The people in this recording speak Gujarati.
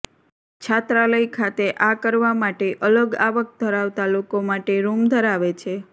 છાત્રાલય ખાતે આ કરવા માટે અલગ આવક ધરાવતા લોકો માટે રૂમ ધરાવે છે